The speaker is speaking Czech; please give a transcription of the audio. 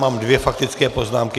Mám dvě faktické poznámky.